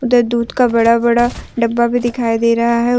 उधर दूध का बड़ा बड़ा डब्बा भी दिखाई दे रहा है।